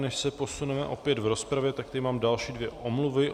Než se posuneme opět v rozpravě, tak tu mám další dvě omluvy.